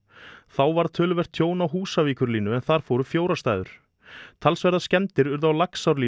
þá varð töluvert tjón á Húsavíkurlínu en þar fóru fjórar stæður talsverðar skemmdir urðu á